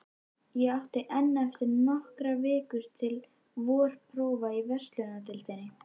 Ég átti enn eftir nokkrar vikur til vorprófa í verslunardeildinni.